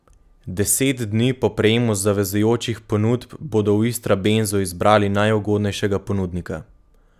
Deset dni po prejemu zavezujočih ponudb bodo v Istrabenzu izbrali najugodnejšega ponudnika.